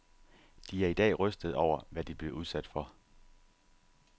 De er i dag rystede over, hvad de blev udsat for.